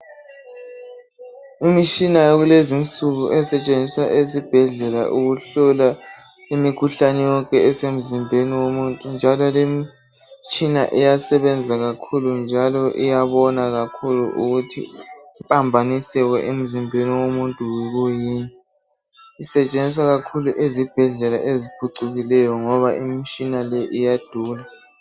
Imitshina yakulezinsuku esetshenziswa esibhedlela ukuhlola imikhuhlane yonke esemzimbeni womuntu njalo lemitshina iyasebenza kakhulu njalo iyabona kakhulu ukuthi impambaniseko emzimbeni womuntu yikwiyini. Isetshenziswa kakhulu ezibhedlela eziphucukileyo ngoba imitshina le iyadura.